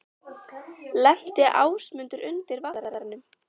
Lenti Ásmundur undir Valtaranum?